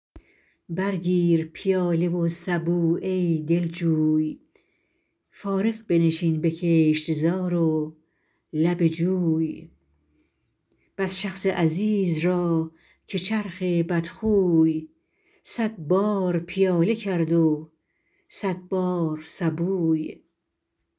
بر گیر پیاله و سبو ای دلجوی فارغ بنشین به کشتزار و لب جوی بس شخص عزیز را که چرخ بدخوی صد بار پیاله کرد و صد بار سبوی